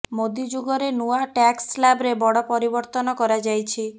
ମୋଦୀ ଯୁଗରେ ନୂଆ ଟ୍ୟାକ୍ସ ସ୍ଲାବରେ ବଡ଼ ପରିବର୍ତ୍ତନ କରାଯାଇଛି